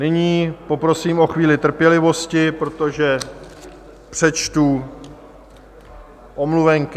Nyní poprosím o chvíli trpělivosti, protože přečtu omluvenky.